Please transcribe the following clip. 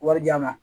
Wari di yan nɔ